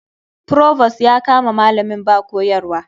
Provost ya kama malamin ba koyarwa.